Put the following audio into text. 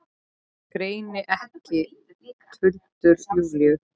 Greini ekki tuldur Júlíu.